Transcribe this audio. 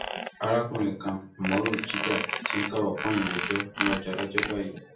arákùnrin kan umoru jidah ti ń káwọ pọnyìn rojọ níwájú adájọ báyìí